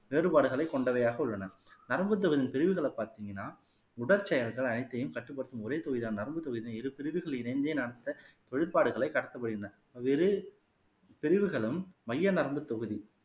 வேறுபாடுகளைக் கொண்டவையாக உள்ளன நரம்பு தொகுதியின் பிரிவுகளை பார்த்தீங்கன்னா உடற்செயல்கள் அனைத்தையும் கட்டுப்படுத்தும் ஒரே தொகைதான் நரம்புத்தொகைதான் இரு பிரிவுகள் இணைந்தே நடத்த தொழில்பாடுகளை கடத்தப்படுகின்றன பல்வேறு பிரிவுகளும் மைய நரம்பு தொகுதி